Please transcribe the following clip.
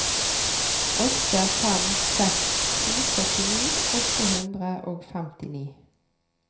åtte fem seks to førtini åtte hundre og femtini